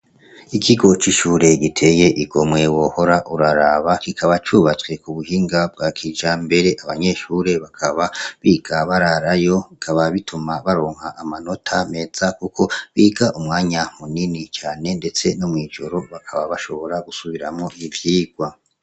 Ikigo c'ishure giteye igomwe wohora uraraba, kikaba cubatswe kubuhinga bwa kijambere, abanyeshure bakaba biga bararayo ,bikaba bituma baronka amanota meza kuko biga umwanya munini cane ndetse no mw'ijoro bakaba bashobora gusubiramwo ivyirwa.